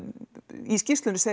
í skýrslunni segir